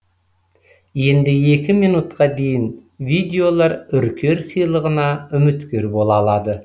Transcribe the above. енді екі минутқа дейін видеолар үркер сыйлығына үміткер бола алады